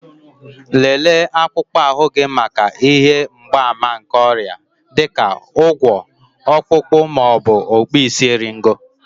Lelee akpụkpọ ahụ gị maka ihe mgbaàmà nke ọrịa, dị ka ụgwọ̀, Ọkpụkpụ, ma ọ bụ okpuisieriego